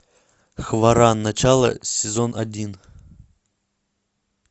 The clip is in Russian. хваран начало сезон один